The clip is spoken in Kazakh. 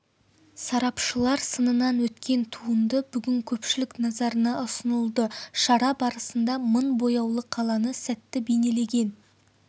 сарапшылар сынынан өткен туынды бүгін көпшілік назарына ұсынылды шара барысында мың бояулы қаланы сәтті бейнелеген